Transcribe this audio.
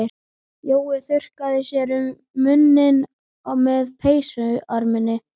Jói þurrkaði sér um munninn með peysuerminni.